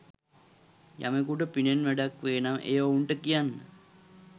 යමෙකුට පිනෙන් වැඩක් වේ නම් එය ඔවුන්ට කියන්න.